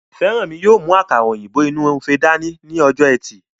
Fẹ́rànmi yóò mú àkàrà òyìnbó inú ife dání ní ọjọ́ ẹtì